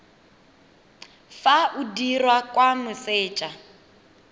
fa o dirwa kwa moseja